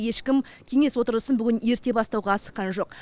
ешкім кеңес отырысын бүгін ерте бастауға асыққан жоқ